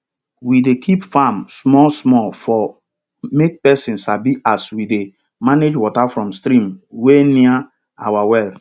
we dey keep farm small small for make pesin sabi as we dey manage water from stream wey near our well